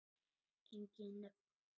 Engin nöfn.